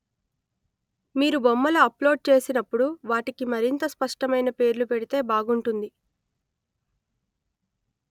మీరు బొమ్మలు అప్‌లోడ్ చేసినప్పుడు వాటికి మరింత స్పష్టమైన పేర్లు పెడితే బాగుంటుంది